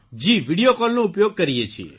જી video કોલનો ઉપયોગ કરીએ છીએ